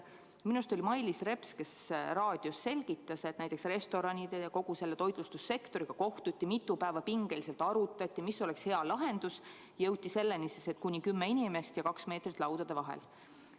Minu arust oli see Mailis Reps, kes raadios selgitas, et kohtuti restoranide ja kogu toitlustussektori esindajatega ja mitu päeva pingeliselt arutati, mis oleks hea lahendus, ja jõuti selleni, et lubatud on kuni kümme inimest ja peab olema vähemalt kaks meetrit laudade vahel.